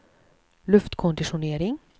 luftkonditionering